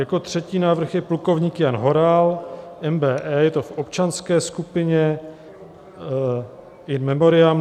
Jako třetí návrh je plukovník Jan Horal, MBE, je to v občanské skupině, in memoriam.